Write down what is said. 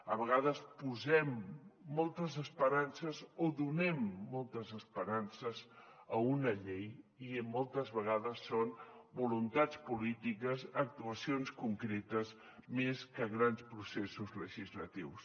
a vegades posem moltes esperances o donem moltes esperances a una llei i moltes vegades són voluntats polítiques actuacions concretes més que grans processos legislatius